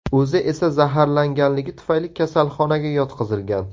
O‘zi esa zaharlanganligi tufayli kasalxonaga yotqizilgan.